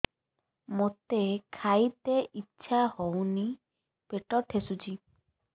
ମୋତେ ଖାଇତେ ଇଚ୍ଛା ହଉନି ପେଟ ଠେସୁଛି